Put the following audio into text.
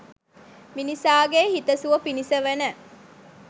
මිනිසාගේ හිත සුව පිණිස වන